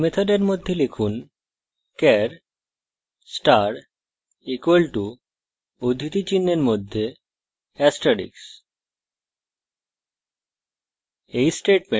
main মেথডের মধ্যে লিখুন char star = উদ্ধৃতি চিনহের মধ্যে asrteicks